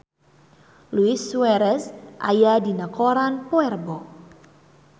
Luis Suarez aya dina koran poe Rebo